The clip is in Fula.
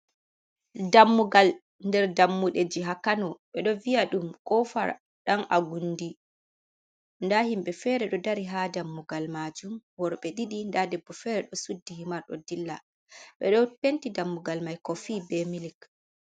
Dammugal nder dammuɗe jiha Kano ɓe ɗo vi’a ɗum kofar Dan Agundi, nda himɓe fere ɗo dari ha dammugal majum, worɓe ɗiɗi, nda debbo fere ɗo suddi himar ɗo dilla, ɓe ɗo penti dammugal mai kofi be milik.